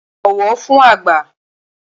Bọ̀wọ̀ fün àgbà!